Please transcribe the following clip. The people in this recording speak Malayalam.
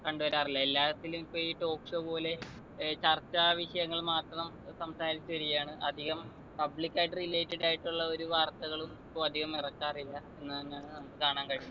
കണ്ടു വരാറില്ല എല്ലാത്തിലും ഇപ്പൊ ഈ talk show പോലെ ഏർ ചർച്ചാ വിഷയങ്ങൾ മാത്രം ഏർ സംസാരിച്ചു വരികയാണ് അധികം public ആയിട്ട് related ആയിട്ടുള്ള ഒരു വാർത്തകളും ഇപ്പൊ അധികം ഇറക്കാറില്ല എന്നാണ് ഞാൻ നമ്മുക്ക് കാണാൻ കഴിയുന്ന്